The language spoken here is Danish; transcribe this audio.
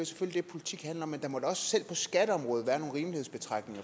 selvfølgelig det politik handler om men der må da også selv på skatteområdet være nogle rimelighedsbetragtninger